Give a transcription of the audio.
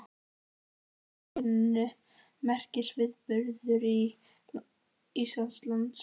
Þetta var í rauninni merkisviðburður í Íslandssögunni.